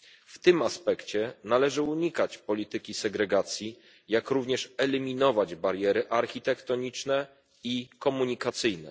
W tym aspekcie należy unikać polityki segregacji, jak również eliminować bariery architektoniczne i komunikacyjne.